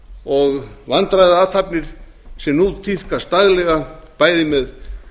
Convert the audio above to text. og vandræðaathafnir sem nú tíðkast daglega bæði með